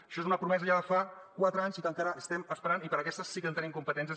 això és una promesa ja de fa quatre anys i que encara estem esperant i per a aquestes sí que tenim competències